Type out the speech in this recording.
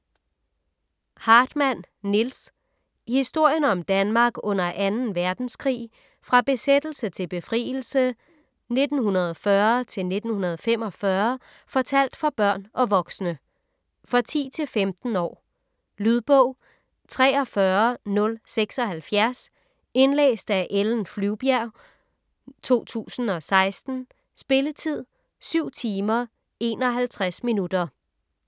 Hartmann, Nils: Historien om Danmark under 2. verdenskrig: fra besættelse til befrielse 1940-1945: fortalt for børn og voksne For 10-15 år. Lydbog 43076 Indlæst af Ellen Flyvbjerg, 2016. Spilletid: 7 timer, 51 minutter.